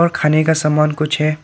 खाने का सामान कुछ है।